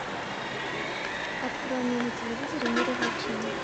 открой мне на телевизоре мир увлечений